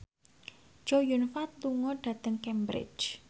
Chow Yun Fat lunga dhateng Cambridge